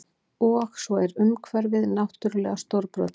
Og svo er umhverfið náttúrlega stórbrotið